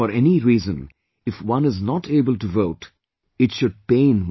For any reason, if one is not able to vote, it should pain one